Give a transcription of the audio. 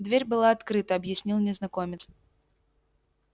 дверь была открыта объяснил незнакомец